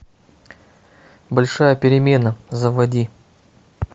большая перемена заводи